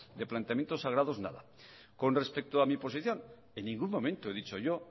de planteamientos sagrados nada con respecto a mi posición en ningún momento he dicho yo